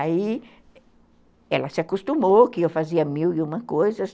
Aí ela se acostumou que eu fazia mil e uma coisas.